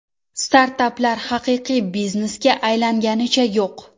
Startaplar haqiqiy biznesga aylanganicha yo‘q.